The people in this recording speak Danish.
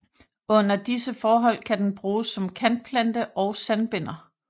Under disse forhold kan den bruges som kantplante og sandbinder